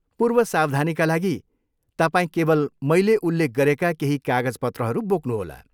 पूर्व सावधानीका लागि, तपाईँ केवल मैले उल्लेख गरेका केही कागजपत्रहरू बोक्नुहोला।